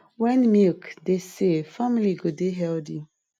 when milk dey safe family go dey healthy